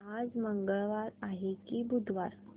आज मंगळवार आहे की बुधवार